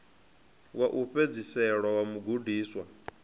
wa u fhedzisela wa mugudiswa